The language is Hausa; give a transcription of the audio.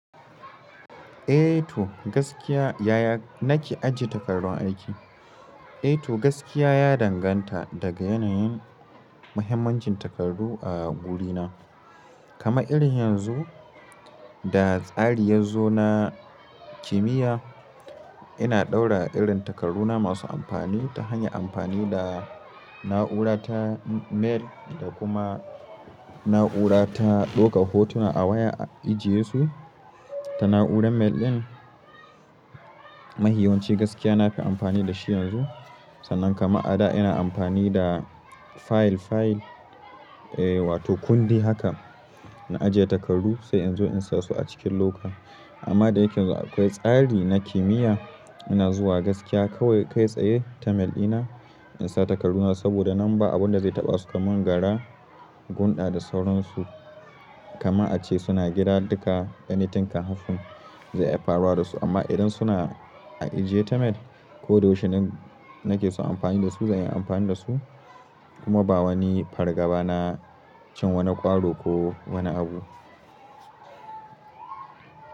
Eh to gaskiya ya ya nake ajiye takardun aiki. Eh to gaskiya ya danganta daga yanayin muhimmancin takardu a wurina. Kama irin yanzu da tsariyar zo na kimiyya ina ɗaura irin takarduna masu amfani ta hanyar amfani da na'ura ta mail da kuma na'ura ta ɗauka hotuna a waya a ajiye su. Ta na'urar mail ɗin mahiyanci gaskiya nafi amfani da shi yanzu. Sanan kama a da ina amfani da fayil fayil eh wato kundi haka na ajiye takardu sai in zo in sa su a cikin lokan. Amma da yake yanzu akwai tsari na kimiyya ina zuwa gaskiya kawai kai tsaye ta mail ina in sa takarduna saboda nan ba abun da zai taɓa su ka mun gara gunda da sauransu. Kama ace suna gira duka anything can happen zai iya faruwa da su amma idan suna ajiye ta mail ko doshe nake so amfani da su zan iya amfani da su kuma ba wani fargaba na cin wani ƙwaro ko wani abu.